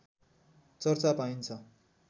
चर्चा पाइन्छ